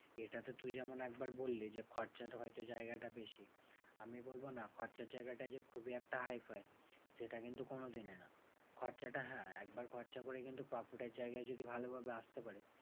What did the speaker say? এটা তো তুই যেমন একবার বললি যে, খরচার হয়তো জায়গাটা বেশি। আমি বলবো না খরচার জায়গাটা যে খুব একটা hi-fi সেটা কিন্তু কোনোদিনই না। খরচাটা হ্যাঁ একবার খরচা করে কিন্তু profit এর জায়গায় যদি ভালোভাবে আসতে পারিস